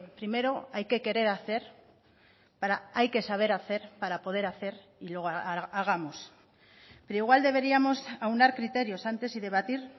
primero hay que querer hacer hay que saber hacer para poder hacer y luego hagamos pero igual deberíamos aunar criterios antes y debatir